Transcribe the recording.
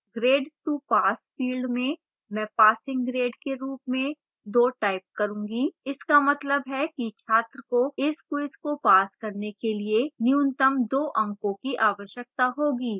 grade to pass field में मैं passing grade के रूप में 2 type करूँगी इसका मतलब है कि छात्र को इस quiz को pass करने के लिए न्यूनतम 2 अंकों की आवश्यकता होगी